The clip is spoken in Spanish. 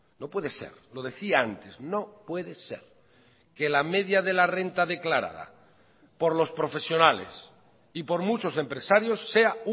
no puede ser lo decía antes no puede ser que la media de la renta declarada por los profesionales y por muchos empresarios sea